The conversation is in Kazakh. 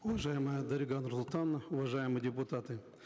уважаемая дарига нурсултановна уважаемые депутаты